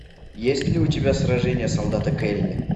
есть ли у тебя сражение солдата келли